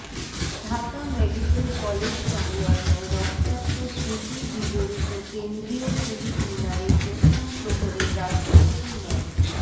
Dhaka medical college সংলগ্ন রক্তাক্ত স্মৃতি বিজড়িত কেন্দ্রীয় শহীদ মিনারে প্রথম প্রহরে রাষ্ট্রপতি মো